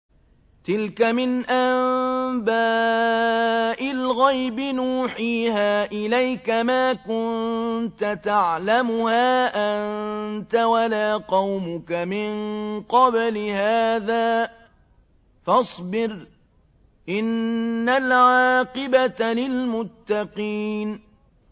تِلْكَ مِنْ أَنبَاءِ الْغَيْبِ نُوحِيهَا إِلَيْكَ ۖ مَا كُنتَ تَعْلَمُهَا أَنتَ وَلَا قَوْمُكَ مِن قَبْلِ هَٰذَا ۖ فَاصْبِرْ ۖ إِنَّ الْعَاقِبَةَ لِلْمُتَّقِينَ